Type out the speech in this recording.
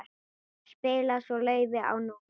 Spilaði svo laufi á NÍUNA.